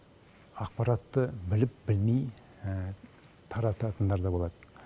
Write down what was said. ақпаратты біліп білмей таратындар да болады